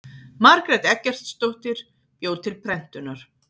margrét eggertsdóttir bjó til prentunar